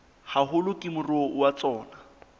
haholo ke moruo wa tsona